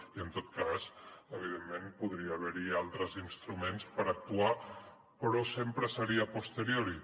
i en tot cas evidentment podria haver hi altres instruments per actuar però sempre seria a posteriori